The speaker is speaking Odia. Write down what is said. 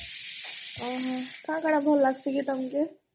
ଓହୋ କଣ କଣ ଭଲ୍ ଲଗଶି କି ତମକୁ?